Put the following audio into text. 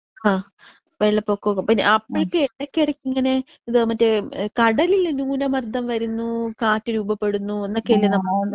ആ അത് ശരി തന്നെ. വെള്ളപ്പൊക്കക്കെ പിന്നെ അപ്പോക്കെ എടയ്ക്ക് എടയ്ക്ക് ഇങ്ങനെ ഇത് മറ്റേ കടലിൽ ന്യൂനമർദ്ദം വരുന്നൂ കാറ്റ് രൂപപ്പെടുന്നു എന്നൊക്കെ അല്ലെ നമ്മൾ.